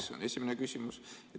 See on esimene küsimus.